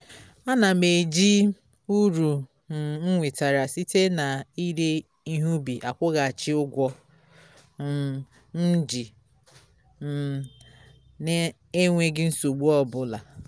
a na m eji m uru um m nwetara site na ire ihe ubi akwughachi ụgwọ um m ji um na-enweghi nsogbu ọbụla